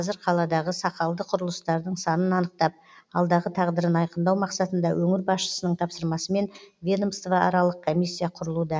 қазір қаладағы сақалды құрылыстардың санын анықтап алдағы тағдырын айқындау мақсатында өңір басшысының тапсырмасымен ведомствоаралық комиссия құрылуда